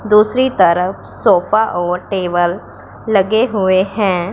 दूसरी तरफ सोफा और टेबल लगे हुए हैं।